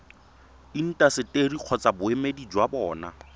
intaseteri kgotsa boemedi jwa bona